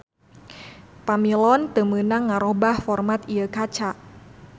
Pamilon teu meunang ngarobah format ieu kaca